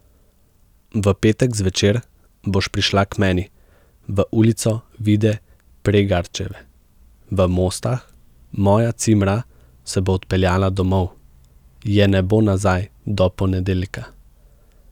V petek zvečer boš prišla k meni, v Ulico Vide Pregarčeve v Mostah, moja cimra se bo odpeljala domov, je ne bo nazaj do ponedeljka.